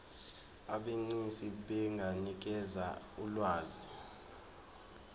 abegcis benganikeza ulwazi